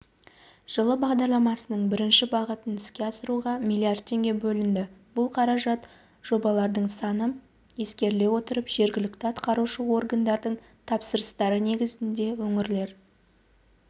жылы бағдарламасының бірінші бағытын іске асыруға млрд теңге бөлінді бұл қаражат жобалардың саны ескеріле отырып жергілікті атқарушы органдардың тапсырыстары негізінде өңірлер